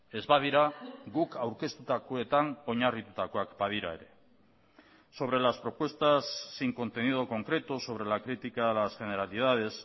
ez badira guk aurkeztutakoetan oinarritutakoak badira ere sobre las propuestas sin contenido concreto sobre la crítica a las generalidades